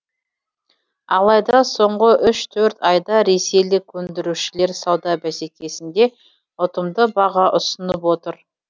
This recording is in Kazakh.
алайда соңғы үш төрт айда ресейлік өндірушілер сауда бәсекесінде ұтымды баға ұсынып отыр